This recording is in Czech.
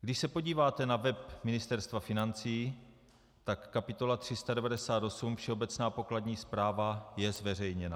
Když se podíváte na web Ministerstva financí, tak kapitola 398 Všeobecná pokladní zpráva, je zveřejněna.